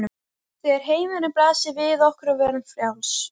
Þegar heimurinn blasir við okkur og við verðum frjáls.